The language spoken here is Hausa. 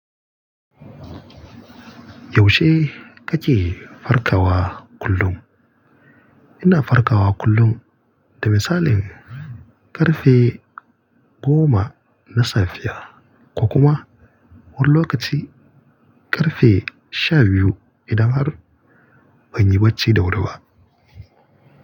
Yaushe kake farkawa kullum? Ina farkawa kullum, da misali ƙarfe goma na safe ko kuma wani lokaci ƙarfe sha biyu idan har ban yi bacci da wuri ba.